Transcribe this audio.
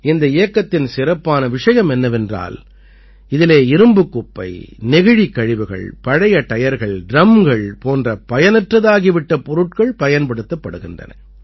இந்த இயக்கத்தின் சிறப்பான விஷயம் என்னவென்றால் இதிலே இரும்புக் குப்பை நெகிழிக் கழிவுகள் பழைய டயர்கள் டிரம்கள் போன்ற பயனற்றதாகிவிட்ட பொருட்கள் பயன்படுத்தப்படுகின்றன